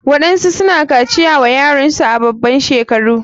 Waɗansu suna kaciya wa yaransu a baban shekaru.